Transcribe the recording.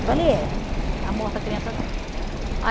Eu falei, é. Está morta a criança dela.